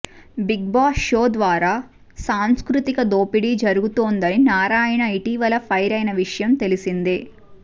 big boss show ద్వారా సాంస్కృతిక దోపిడీ జరుగుతోందని నారాయణ ఇటీవల ఫైర్ అయిన విషయం తెలిసిందే